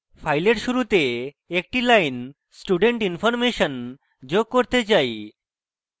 file শুরুতে একটি line student information যোগ করতে say